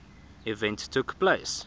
event took place